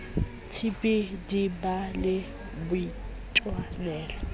tb di ba le boitwanelo